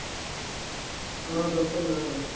ஆஹ் தப்சல்ல வேலை